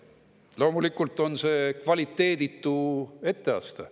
Loomulikult on see kvaliteeditu etteaste.